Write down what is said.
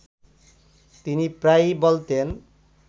তিনি প্রায়ই বলতেন